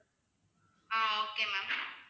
ah okay ma'am